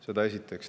Seda esiteks.